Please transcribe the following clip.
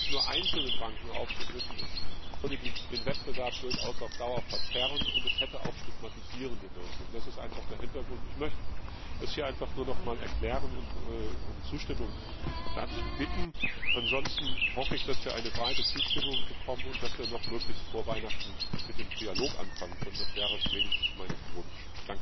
Das nur einzelnen Banken aufzudrücken, würde den Wettbewerb durchaus auf Dauer verzerren und hätte auch stigmatisierende Wirkung. Das ist einfach der Hintergrund. Ich möchte das hier einfach nur noch einmal erklären und um Zustimmung dazu bitten. Ansonsten hoffe ich, dass wir eine breite Zustimmung bekommen und dass wir noch möglichst vor Weihnachten mit dem Trilog anfangen können, das wäre wenigstens mein Wunsch.